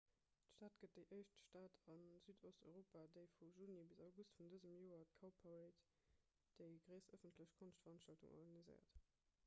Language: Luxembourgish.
d'stad gëtt déi éischt stad a südosteuropa déi vu juni bis august vun dësem joer d'cowparade déi gréisst ëffentlech konschtveranstaltung organiséiert